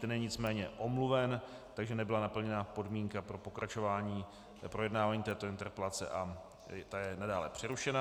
Ten je nicméně omluven, takže nebyla naplněna podmínka pro pokračování projednávání této interpelace a ta je nadále přerušena.